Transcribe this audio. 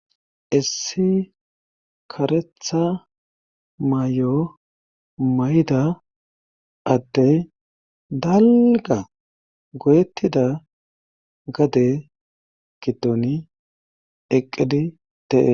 issi karetha may7o may7da adde dalga goyettida gade gidoni eqqidi teee